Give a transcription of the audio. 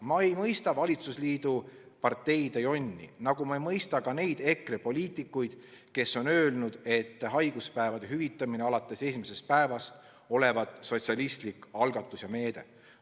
Ma ei mõista valitsusliidu parteide jonni, nagu ma ei mõista ka neid EKRE poliitikuid, kes on öelnud, et haiguspäevade hüvitamine alates esimesest päevast on sotsialistlik algatus ja meede.